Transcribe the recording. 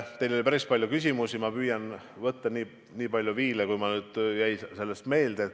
Teil oli päris palju küsimusi, ma püüan ette võtta nii palju n-ö viile, kui mulle meelde jäi.